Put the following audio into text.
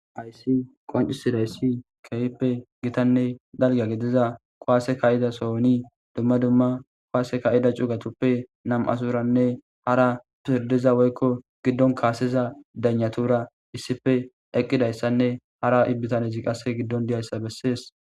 Haysi qoncisidayssi keyppe gitanne dalga gediza kuwaase kayida sooni dumma dumma kuwaase kayida cugatuppe nam''asuranne hara pirdiza woykko giddon kaaseza danyatura issife eqqidayssanne hara ibbitanezi qasse giddon diyayssa bessees.